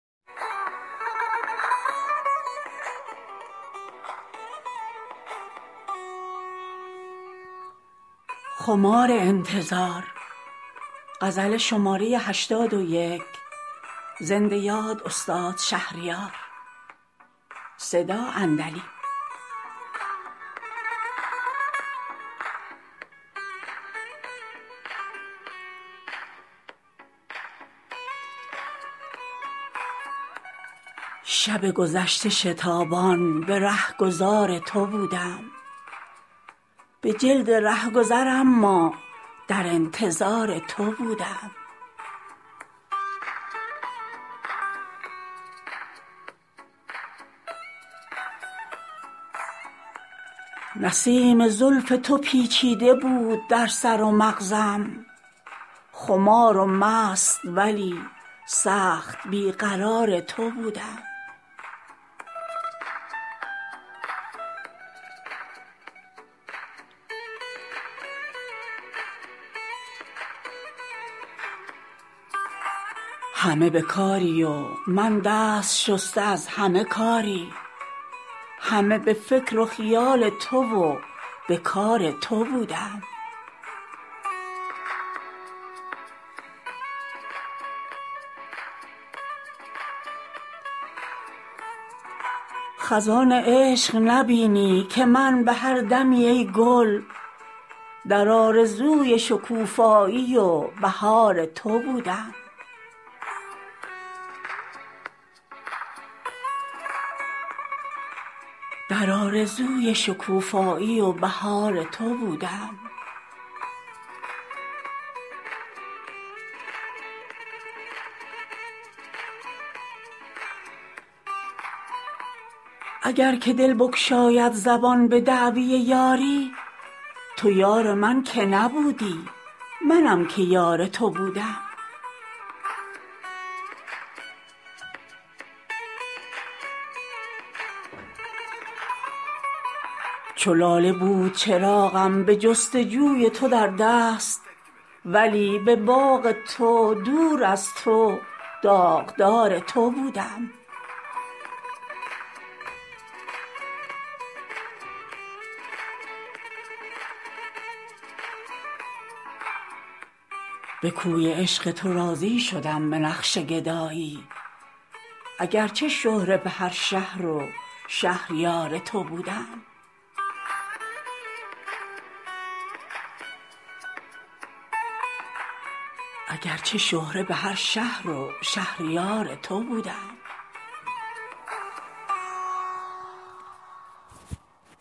شب گذشته شتابان به رهگذار تو بودم به جلد رهگذر اما در انتظار تو بودم به سایه های گریزان شبیه بودم و چون باد به خوی وحشی و با وحشت و فرار تو بودم نیامدی که دل من در اختیار من آری وگرنه تا به سحر من در اختیار تو بودم تو نشیه تخت و خماری ندیده ای که بگویم چگونه خرد و خراب تو و خمار تو بودم نسیم زلف تو پیچیده بود در سر و مغزم خمار و سست ولی سخت بی قرار تو بودم همه به کاری و من دست شسته از همه کاری همه به فکر و خیال تو و به کار تو بودم خزان عشق نبینی که من به هر دمی ای گل در آرزوی شکوفایی و بهار تو بودم اگر که دل بگشاید زبان به دعوی یاری تو یار من که نبودی منم که یار تو بودم چو لاله بود چراغم به جستجوی تو در دست ولی به باغ تو دور از تو داغدار تو بودم به کوی عشق تو راضی شدم به نقش گدایی اگرچه شهره به هر شهر و شهریار تو بودم